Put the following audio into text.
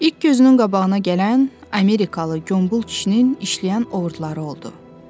İlk gözünün qabağına gələn amerikalı qombol kişinin işləyən oğurluları oldu.